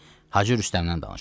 Hacı Rüstəmdən danışaq.